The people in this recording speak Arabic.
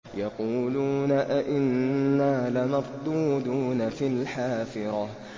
يَقُولُونَ أَإِنَّا لَمَرْدُودُونَ فِي الْحَافِرَةِ